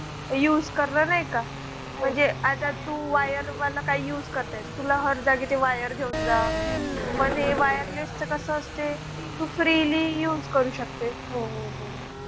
Use करणार नाही का? म्हणजे आता तू wire वाला काही use करताय ना तुला हर जागेवर wire घेऊन जा. पण हे wireless च कसं असते तू freely use करू शकते .